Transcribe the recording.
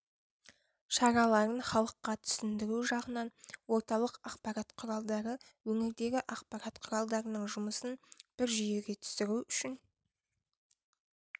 шараларын халыққа түсіндіру жағынан орталық ақпарат құралдары өңірдегі ақпарат құралдарының жұмысын бір жүйеге түсіру үшін